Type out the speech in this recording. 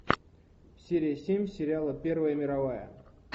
серия семь сериала первая мировая